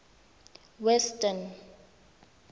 western